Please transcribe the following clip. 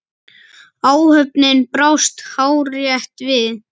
Áhöfnin brást hárrétt við.